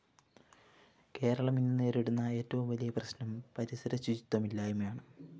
കേരളം ഇന്നു നേരിടുന്ന ഏറ്റവും വലിയ പ്രശ്‌നം പരിസരശുചിത്വമില്ലായ്മയാണ്